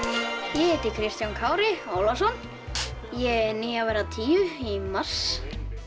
ég heiti Kristján Kári Ólafsson ég er níu að verða tíu í mars